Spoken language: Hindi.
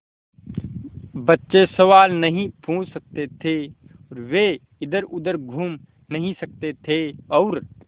बच्चे सवाल नहीं पूछ सकते थे वे इधरउधर घूम नहीं सकते थे और